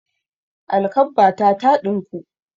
Alkabbata ta ɗinku.